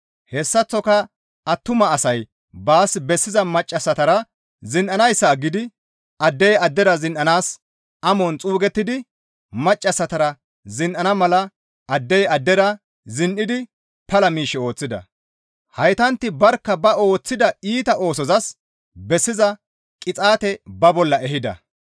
Hessaththoka attuma asay baas bessiza maccassatara zin7anayssa aggidi addey addera zin7anaas amon xuugettidi maccassatara zin7iza mala addey addera zin7idi pala miish ooththida; heytantti barkka ba ooththida iita oosozas bessiza qixaate ba bolla ehida.